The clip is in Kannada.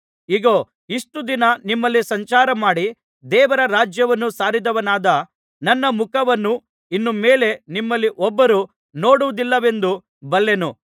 ಇಗೋ ಇಷ್ಟು ದಿನ ನಿಮ್ಮಲ್ಲಿ ಸಂಚಾರಮಾಡಿ ದೇವರ ರಾಜ್ಯವನ್ನು ಸಾರಿದವನಾದ ನನ್ನ ಮುಖವನ್ನು ಇನ್ನು ಮೇಲೆ ನಿಮ್ಮಲ್ಲಿ ಒಬ್ಬರೂ ನೋಡುವುದಿಲ್ಲವೆಂದು ಬಲ್ಲೆನು